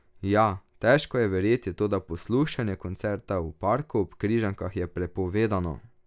Ja, težko je verjeti, toda poslušanje koncerta v parku ob Križankah je prepovedano!